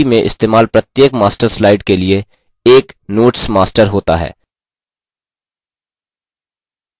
इसका मतलब है कि प्रस्तुति में इस्तेमाल प्रत्येक master slide के लिए एक notes master होता है